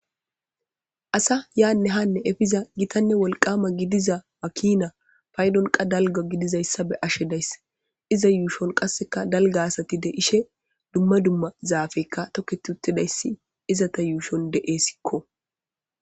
Asa yane hane epiza gitta woliqqamane gidiza makina payidon qa daliga he yushon qasika daliga asati de'ishe duma duma zapey toketi uttidays izata yushon de'esko